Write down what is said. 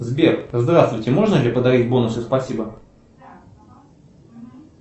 сбер здравствуйте можно ли подарить бонусы спасибо